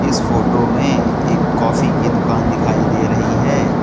इस फोटो में एक कॉफी की दुकान दिखाई दे रही है।